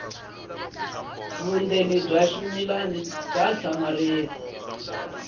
vundzeni bya ximilana bya hlamarisa